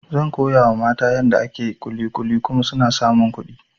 Zan koyawa mata yadda ake kulikuli kuma suna samun kuɗi